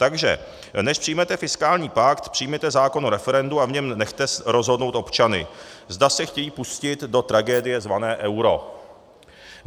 Takže než přijmete fiskální pakt, přijměte zákon o referendu a v něm nechte rozhodnout občany, zda se chtějí pustit do tragédie zvané euro.